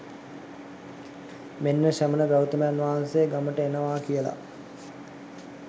මෙන්න ශ්‍රමණ ගෞතමයන් වහන්සේ ගමට එනවා කියලා